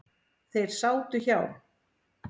Þeir sátu hjá.